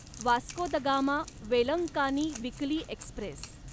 Vasco da Gama Velankanni weekly Express